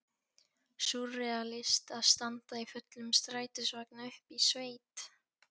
Súrrealískt að standa í fullum strætisvagni uppi í sveit!